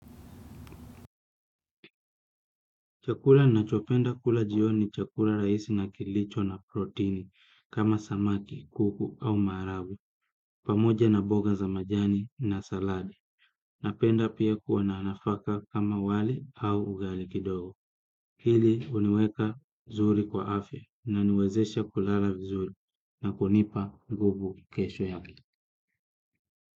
Chakula ninachopenda kula jioni ni chakula rahisi na kilicho na protini kama samaki, kuku au maharagwe, pamoja na mboga za majani na saladi, napenda pia kuwa na nafaka kama wali au ugali kidogo. Hili huniweka zuri kwa afya inaniwezesha kulala vizuri na kunipa nguvu kesho yake.